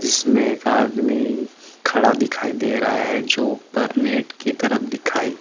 जिसमे एक आदमी खड़ा दिखाई दे रहा है जो ऊपर नेट की तरफ दिखाई --